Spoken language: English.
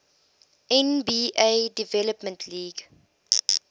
nba development league